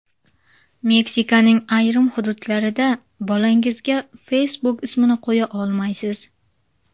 Meksikaning ayrim hududlarida bolangizga Facebook ismini qo‘ya olmaysiz.